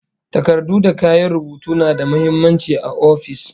Takardu da kayan rubutu na da muhimmanci a ofis